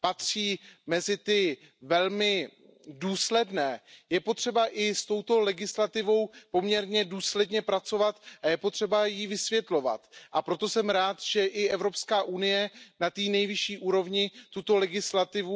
patří mezi ty velmi důsledné, je potřeba i s touto legislativou poměrně důsledně pracovat a je potřeba ji vysvětlovat, a proto jsem rád, že i EU na té nejvyšší úrovni tuto legislativu